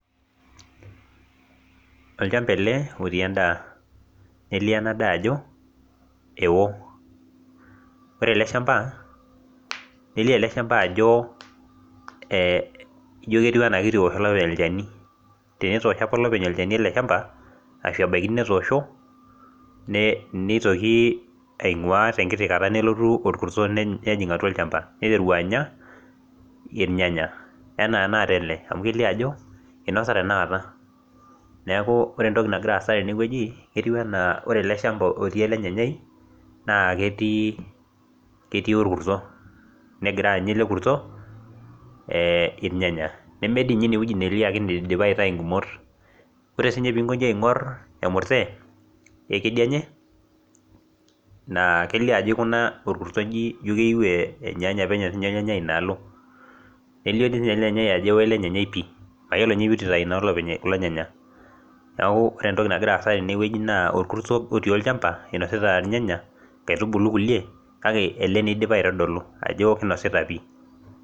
Olchamba ele otii endaa nelio ena daa ajo ewo ore ele shamba nelio ele shamba ajo eh ijio ketiu enaa kitu ewosh olopeny olchani tenetoosho apa olopeny olchani ele shamba ashu ebaiki netoosho ne neitoki aing'ua tenkiti kata nelotu orkurto neny nejing atua olchamba neiteru anya irnyanya enaa enakata ele amu kelio ajo inosa tenakata neeku ore entoi nagira aasa tenewueji etiu enaa ore ele shamba otii ele nyanyai naa ketii ketii orkurto negira anya ele kurto eh irnyanya neme dii inye inewueji nelio ake nidipa aita ingumot ore sinye pinkoji aing'orr emurte ekedianye naa kelio ajo ikuna orkurto inji injio keyieu eh enyaanya penyo sinye ornyanyai inaalo elio dii siinye ele nyanyai ajo ewo ele nyanyai pii mayiolo inye petu itai naa olopeny kulo nyanya naku ore entoki nagira aasa tenewueji naa orkurto otii olchamba inosita ilnyanya inkaitubulu kulie kake ele naa idipa aitodolu ajo kinosita pii.